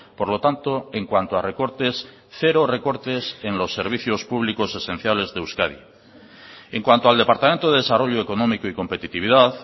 por lo tanto en cuanto a recortes cero recortes en los servicios públicos esenciales de euskadi en cuanto al departamento de desarrollo económico y competitividad